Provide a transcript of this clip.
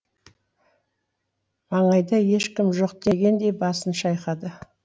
маңайда ешкім жоқ дегендей басын шайқады